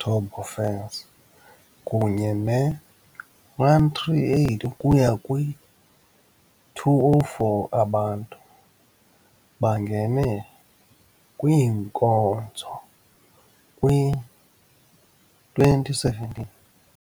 turbofans kunye ne-138 ukuya kwi-204 abantu, bangene kwinkonzo kwi-2017.